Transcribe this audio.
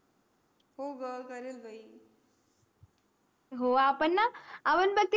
हो ग चाल बाई